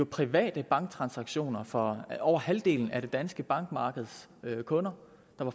private banktransaktioner fra over halvdelen af det danske bankmarkeds kunder